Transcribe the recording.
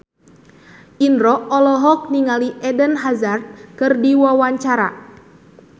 Indro olohok ningali Eden Hazard keur diwawancara